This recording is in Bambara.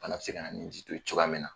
Fana be se ka na ni ji to ye cogoya min na